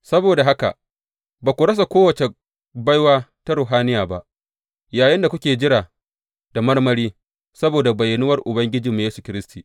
Saboda haka, ba ku rasa kowace baiwa ta ruhaniya ba, yayinda kuke jira da marmari, saboda bayyanuwar Ubangijinmu Yesu Kiristi.